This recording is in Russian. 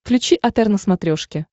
включи отр на смотрешке